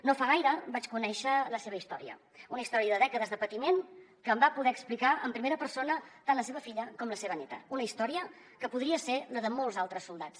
no fa gaire vaig conèixer la seva història una història de dècades de patiment que em va poder explicar en primera persona tant la seva filla com la seva neta una història que podria ser la de molts altres soldats